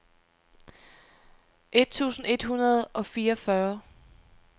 et tusind et hundrede og fireogfyrre